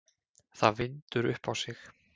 Það vindur upp á sig.